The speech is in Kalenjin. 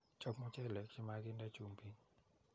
chop �mucheleek chemaginde chumbiik.